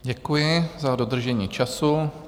Děkuji za dodržení času.